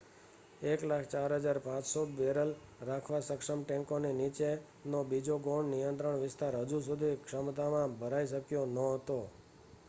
1,04,500 barrel રાખવા સક્ષમ ટેન્કોની નીચે નો બીજો ગૌણ નિયંત્રણ વિસ્તાર હજુ સુધી ક્ષમતા માં ભરાઈ શક્યો ન હતો